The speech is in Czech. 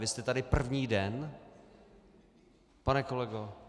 Vy jste tady první den, pane kolego?